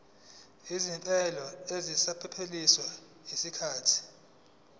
izimvume eseziphelelwe yisikhathi